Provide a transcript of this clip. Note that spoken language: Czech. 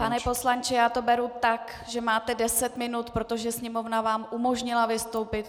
Pane poslanče, já to beru tak, že máte deset minut, protože Sněmovna vám umožnila vystoupit.